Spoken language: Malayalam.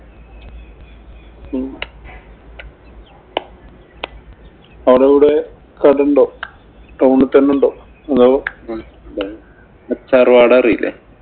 അവടവിടെ കടയുണ്ടാവും. Town തന്നെ ഉണ്ടാവും. അറിയില്ലേ?